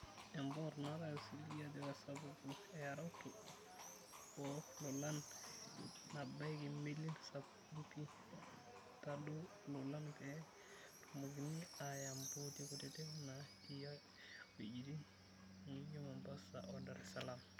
Empot natai osiligi ajo kesapaku eeyaroto oo lolan nabaiki melin sapukin' pii tadou lolan pee tumokini aya mpooti kutitik naa tii wejitin nijoo Mombasa oo Dar salaam